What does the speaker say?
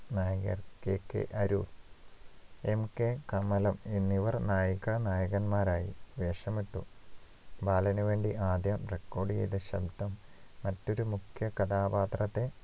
നായകൻ KK Arur MK Kamalam എന്നിവർ നായികാനായകന്മാരായി വേഷമിട്ടു ബാലനുവേണ്ടി ആദ്യം record ചെയ്ത ശബ്ദം മറ്റൊരു മുഖ്യ കഥാപാത്രത്തെ